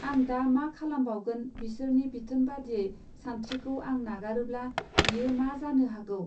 आं दा मा खालामबावगोन बिसोरनि बिथोन बादियै सानस्त्रिखौ आं नागारोब्ला बियो मा जानो हागौ?